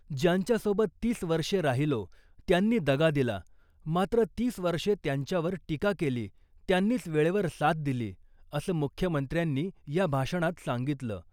ज्यांच्या सोबत तीस वर्षे राहिलो त्यांनी दगा दिला, मात्र तीस वर्षे त्यांच्यावर टीका केली त्यांनीच वेळेवर साथ दिली , असं मुख्यमंत्र्यांनी या भाषणात सांगितलं .